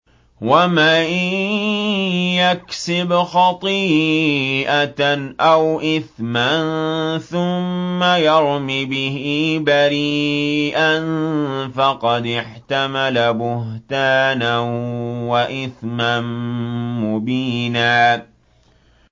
وَمَن يَكْسِبْ خَطِيئَةً أَوْ إِثْمًا ثُمَّ يَرْمِ بِهِ بَرِيئًا فَقَدِ احْتَمَلَ بُهْتَانًا وَإِثْمًا مُّبِينًا